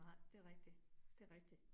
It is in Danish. Nej det rigtigt, det rigtigt